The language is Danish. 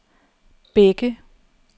Bække